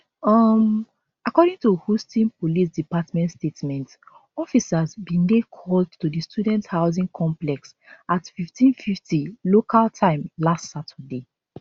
um according to houston police department statement officers bin dey called to di student housing complex at 1550 local time last saturday